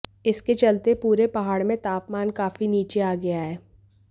इसके चलते पूरे पहाड़ में तापमान काफी नीचे आ गया है